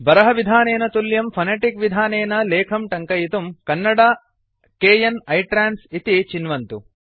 बारः विधानेन तुल्यं फोनेटिक् विधानेन लेखं टङ्कयितुं कन्नडा kn इट्रान्स इति चिन्वन्तु